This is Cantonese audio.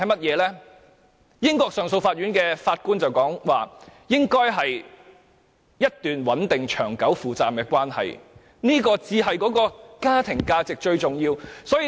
根據英國上訴法院的法官所說，應該是一段穩定、長久、負責任的關係，這才是家庭價值中最重要的一環。